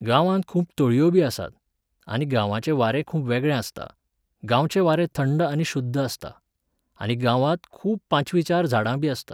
गांवांत खूब तळयोबी आसतात, आनी गांवाचें वारें खूब वेगळें आसता, गांवचें वारें थंड आनी शुद्ध आसता, आनी गांवांत खूब पांचवीचार झाडांबी आसतात.